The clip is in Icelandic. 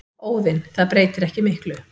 Óðinn: Það breytir ekki miklu.